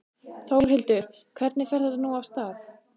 Þórhildur, hvernig fer þetta nú af stað?